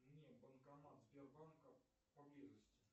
мне банкомат сбербанка поблизости